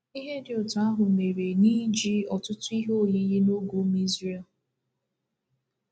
Ihe dị otú ahụ mere n'iji ọtụtụ ihe oyiyi n’oge ụmụ Izrel.